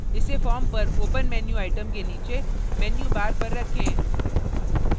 इसे form पर open menu item के नीचे menu bar पर रखें